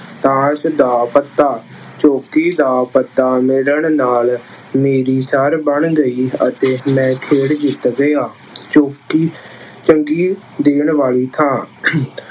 ਤਾਂਸ਼ ਦਾ ਪੱਤਾ- ਚੌਂਕੀ ਦਾ ਪੱਤਾ ਮਿਲਣ ਨਾਲ ਮੇਰੀ ਸਰ ਬਣ ਗਈ ਅਤੇ ਮੈਂ ਖੇਡ ਜਿੱਤ ਗਿਆ। ਚੌਂਕੀ- ਸੰਗੀਤ ਦੇਣ ਵਾਲੀ ਥਾਂ